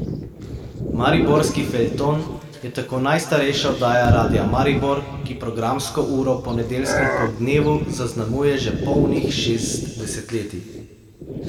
Mariborski feljton je tako najstarejša oddaja Radia Maribor, ki programsko uro po nedeljskem poldnevu zaznamuje že polnih šest desetletij.